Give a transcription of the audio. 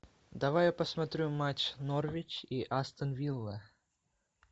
давай я посмотрю матч норвич и астон вилла